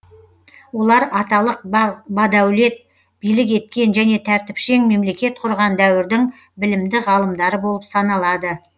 олар аталық бадәулет билік еткен және тәртіпшең мемлекет құрған дәуірдің білімді ғалымдары болып саналады